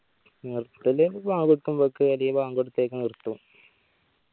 നിർത്താല് ഒരു ബാങ് കൊടുക്കുംബ്ബക്ക് അല്ലേൽ ബാങ് കൊടുത്തേക്ക് നിർത്തും